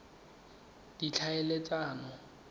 ditlhaeletsano